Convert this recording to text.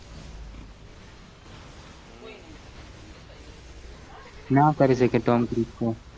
ના કરી સકે tom curse ને